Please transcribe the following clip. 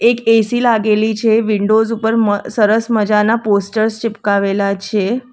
AC લાગેલી છે windows ઉપર મ સરસ મજાના પોસ્ટર્સ ચિપકાવેલા છે.